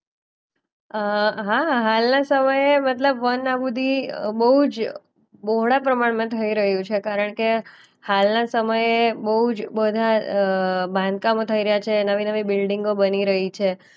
અ હા હાલના સમયે મતલબ વન આબૂદી અ બોજ બહોળા પ્રમાણમાં થઈ રહ્યું છે કારણકે હાલના સમયે બૌજ બધા અ બાંધકામો થઈ રહ્યા છે, નવી-નવી બિલ્ડીંગો બની રહી છે.